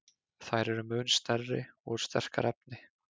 Þær eru mun stærri og úr sterkara efni.